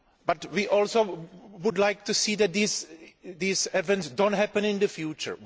But we also would like to see that these events do not happen in the future.